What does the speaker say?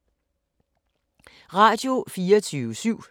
Radio24syv